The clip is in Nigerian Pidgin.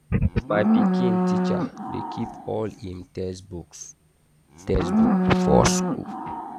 my pikin teacher dey keep all im textbook textbook for school.